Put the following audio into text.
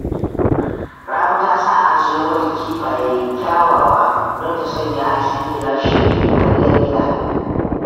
Rabi ta sa an sayo mata kifaye kyawawa don ta sanya a cikin gilashi ta yi kwalliyar gida